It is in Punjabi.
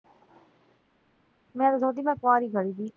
ਨਾਲੇ ਕਹਿੰਦੀ ਮੈਂ ਕੁਆਰੀ